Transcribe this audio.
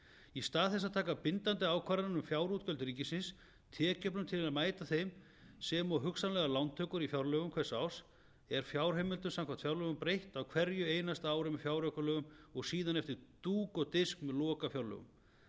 í stað þess að taka bindandi ákvarðanir um fjárútgjöld ríkisins tekjujöfnun til að mæta þeim sem og hugsanlegar lántökur í fjárlögum hvers árs er fjárheimildum samkvæmt fjárlögum breytt á hverju einasta ári með fjáraukalögum og síðan eftir dúk og disk með lokafjárlögum